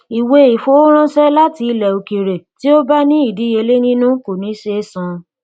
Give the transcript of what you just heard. ìwé ìfowóránṣẹ láti ilẹ òkèèrè tí ó bá ní ìdíyelé nínú kò ní ṣe é san